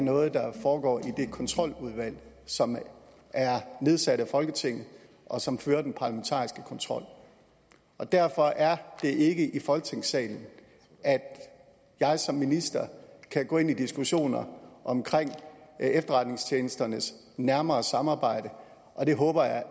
noget der foregår i det kontroludvalg som er nedsat af folketinget og som fører den parlamentariske kontrol og derfor er det ikke i folketingssalen at jeg som minister kan gå ind i diskussioner om efterretningstjenesternes nærmere samarbejde og det håber